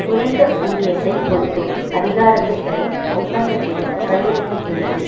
குறைந்த ஊதியத்தை கொடுக்கும் அதிகாரத்தை தரும் ஒப்பந்தத்திலும் கையெழுத்திட்டுள்ளது